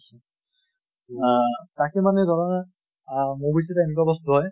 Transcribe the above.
আহ তাকে মানে ধৰা আহ movies এটা এনেকুৱা বস্তু হয়